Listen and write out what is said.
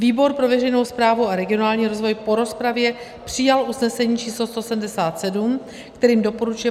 Výbor pro veřejnou správu a regionální rozvoj po rozpravě přijal usnesení č. 177, kterým doporučuje